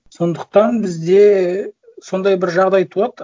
сондықтан бізде сондай бір жағдай туады